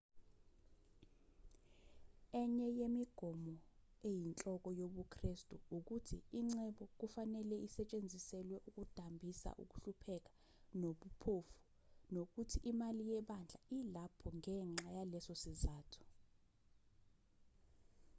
enye yemigomo eyinhloko yobukristu ukuthi ingcebo kufanele isetshenziselwe ukudambisa ukuhlupheka nobuphofu nokuthi imali yebandla ilapho ngenxa yaleso sizathu